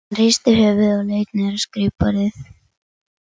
Hann hristi höfuðið og leit niður á skrifborðið.